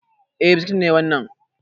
Eh biskit ne wannan